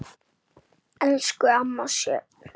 Elsku amma Sjöfn.